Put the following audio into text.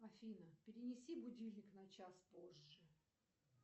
афина перенеси будильник на час позже